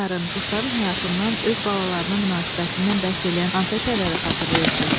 Heyvanların, quşların həyatından, öz balalarına münasibətindən bəhs eləyən hansı əsərləri xatırlayırsınız?